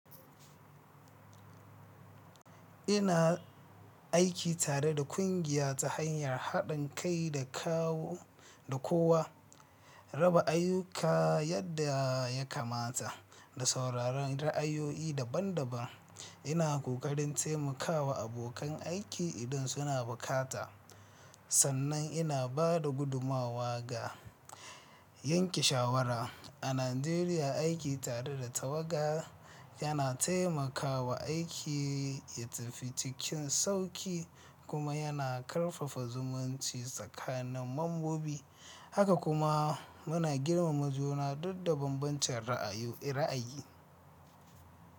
Ina aiki tare da kungiya ta hanyar haɗin kai da kowa, raba ayyuka yadda ya kamata, da sauraron ra’ayoyi daban-daban. Ina ƙoƙarin taimakawa abokan aiki idan suna bukata sannan ina ba da gudummawa ga yanke shawara. A Najeriya, aiki tare da tawaga yana taimaka wa aiki ya tafi cikin sauƙi kuma yana ƙarfafa zumunci tsakanin membobi haka kuma muna girmama juna dukcda banbancin ra’ayi.